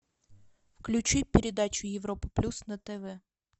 включи передачу европа плюс на тв